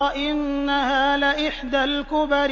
إِنَّهَا لَإِحْدَى الْكُبَرِ